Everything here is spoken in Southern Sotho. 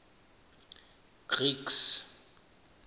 greeks